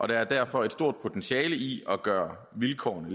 der er derfor et stor potentiel i at gøre vilkårene